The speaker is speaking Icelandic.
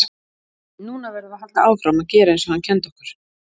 Núna verðum við að halda áfram að gera eins og hann kenndi okkur.